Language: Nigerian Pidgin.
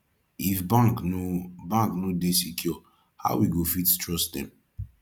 if bank no bank no dey secure how we go fit trust dem